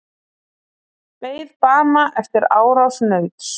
Beið bana eftir árás nauts